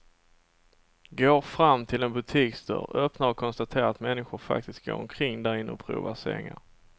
Går fram till en butiksdörr, öppnar och konstaterar att människor faktiskt går omkring därinne och provar sängar.